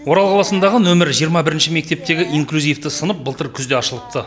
орал қаласындағы нөмірі жиырма бірінші мектептегі инклюзивті сынып былтыр күзде ашылыпты